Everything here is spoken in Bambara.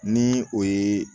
Ni o ye